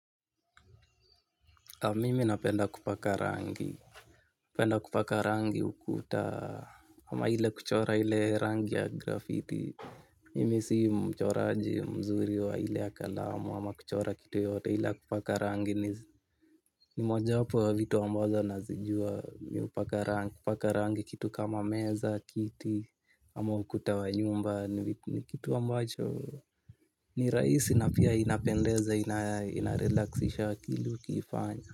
Mimi napenda kupaka rangi kupenda kupaka rangi ukuta ama ile kuchora ile rangi ya graffiti mimi si mchoraji mzuri wa ile ya kalamu ama kuchora kitu yote ile ya kupaka rangi ni moja hapo wa vitu ambazo nazijua kupaka rangi kitu kama meza kiti ama ukuta wa nyumba ni kitu ambacho ni rahisi na pia inapendeza inarelaxisha kilu kifanya. Kwa hivyo.